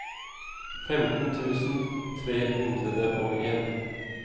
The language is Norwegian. femten tusen tre hundre og en